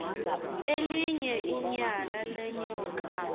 elinye inyala lenyoka